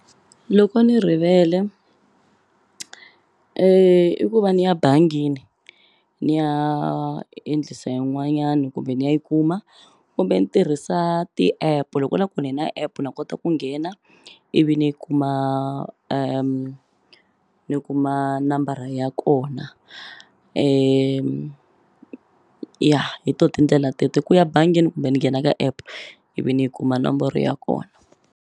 Loko ni rivele i ku va ni ya bangini ni ya endlisa yin'wanyani kumbe ni ya yi kuma kumbe ni tirhisa ti-app loko na ku ni na app na kota ku nghena ivi ni kuma ni kuma nambara ya kona ya hi to tindlela teto ku ya bangini kumbe ni nghena ka app ivi ni yi kuma nomboro ya kona.